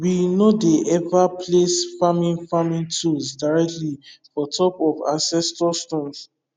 we no dey ever place farming farming tools directly for top of ancestor stones